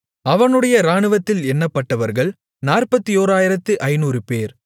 அவனுடைய இராணுவத்தில் எண்ணப்பட்டவர்கள் 41500 பேர்